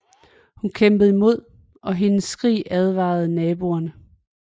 Hun kæmpede imod og hendes skrig advarede naboer